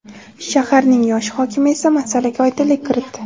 Shaharning yosh hokimi esa masalaga oydinlik kiritdi.